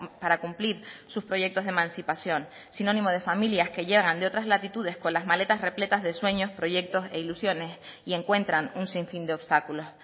para cumplir sus proyectos de emancipación sinónimo de familias que llegan de otras latitudes con las maletas repletas de sueños proyectos e ilusiones y encuentran un sinfín de obstáculos